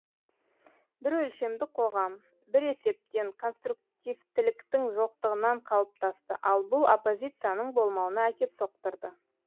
бір өлшемді қоғам бір есептен конструктивтіліктің жоқтығынан қалыптасты ал бұл оппозицияның болмауына әкеп соқтырды